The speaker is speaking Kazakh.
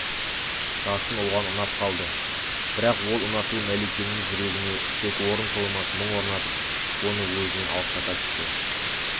жасын оған ұнап қалды бірақ ол ұнату мәликенің жүрегіне тек орын толмас мұң орнатып оны өзінен алыстата түсті